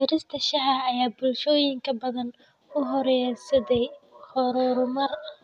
Beerista shaaha ayaa bulshooyin badan u horseeday horumar.